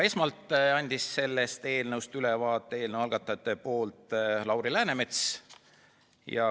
Esmalt andis eelnõust ülevaate eelnõu algatajate nimel Lauri Läänemets.